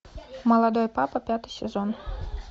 молодой папа пятый сезон